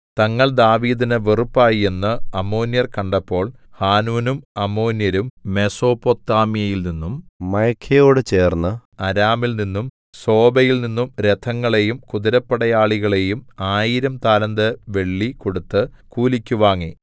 തങ്ങൾ ദാവീദിന് വെറുപ്പായി എന്നു അമ്മോന്യർ കണ്ടപ്പോൾ ഹാനൂനും അമ്മോന്യരും മെസൊപൊത്താമ്യയിൽനിന്നും മയഖയോടു ചേർന്ന അരാമിൽനിന്നും സോബയിൽനിന്നും രഥങ്ങളെയും കുതിരപ്പടയാളികളേയും ആയിരം താലന്ത് വെള്ളി കൊടുത്തു കൂലിക്ക് വാങ്ങി